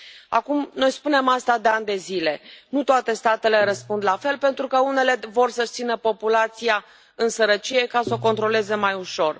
Acum, noi spunem asta de ani de zile nu toate statele răspund la fel, pentru că unele vor să își țină populația în sărăcie, ca să o controleze mai ușor.